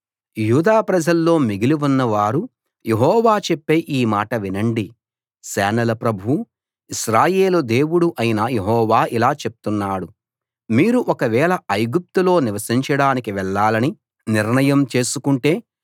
యూదా ప్రజల్లో మిగిలి ఉన్న వారు యెహోవా చెప్పే ఈ మాట వినండి సేనల ప్రభువూ ఇశ్రాయేలు దేవుడూ అయిన యెహోవా ఇలా చెప్తున్నాడు మీరు ఒకవేళ ఐగుప్తులో నివసించడానికి వెళ్లాలని నిర్ణయం చేసుకుంటే